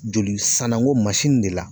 Joli sanango de la.